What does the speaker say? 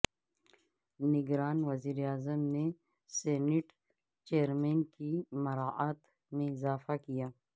نگران وزیر اعظم نے سینیٹ چئرمین کی مراعات میں اضافہ کیا